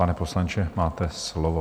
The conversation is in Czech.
Pane poslanče, máte slovo.